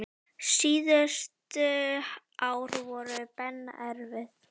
Síðustu ár voru Benna erfið.